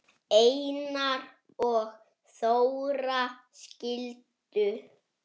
Einar og Þóra skildu.